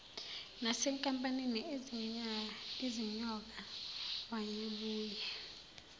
nasenkampanini izinyoka wayebuye